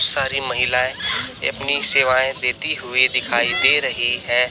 सारी महिलाएं अपनी सेवाएं देती हुई दिखाई दे रही है।